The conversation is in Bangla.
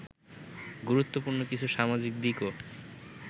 গুরুত্বপূর্ণ কিছু সামাজিক দিকও